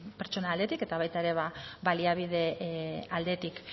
pertsona aldetik eta baita baliabide aldetik